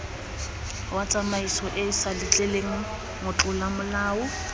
wa tsamaisoeesa letleleleng motlola molao